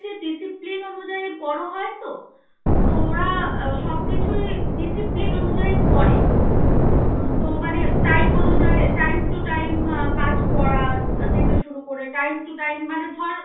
discipline অনুযায়ী বড় হয় তো তো ওরা সব কিছুই discipline অনুযায়ী করে. তো মানে time অনুযায়ী time to time কাজ করা. শুরু করে time to time ধর